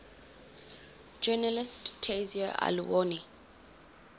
journalist tayseer allouni